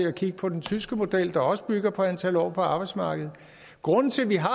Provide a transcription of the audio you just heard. at kigge på den tyske model der også bygger på antal år på arbejdsmarkedet grunden til at vi har